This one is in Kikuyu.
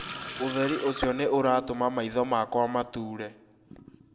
ũtheri ũcio nĩ ũratũma maitho makwa matũre